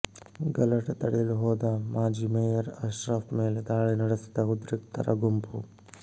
ಗಲಾಟೆ ತಡೆಯಲು ಹೋದ ಮಾಜಿ ಮೇಯರ್ ಅಶ್ರಫ್ ಮೇಲೆ ದಾಳಿ ನಡೆಸಿದ ಉದ್ರಿಕ್ತರ ಗುಂಪು